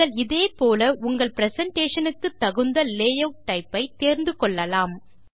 நீங்கள் இதே போல உங்கள் பிரசன்டேஷன் க்கு தகுந்த லேயூட் டைப் ஐ தேர்ந்து கொள்ளலாம்